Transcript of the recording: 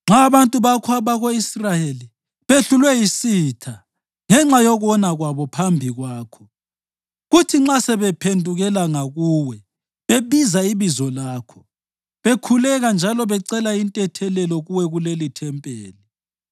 Nxa abantu bakho abako-Israyeli behlulwe yisitha ngenxa yokona kwabo phambi kwakho, kuthi nxa sebephendukela ngakuwe bebiza ibizo lakho, bekhuleka njalo becela intethelelo kuwe kulelithempeli,